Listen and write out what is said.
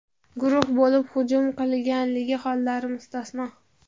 guruh bo‘lib hujum qilganligi hollari mustasno.